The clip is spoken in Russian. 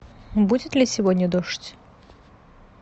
будет ли сегодня дождь